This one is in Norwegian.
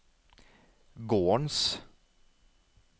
gårdens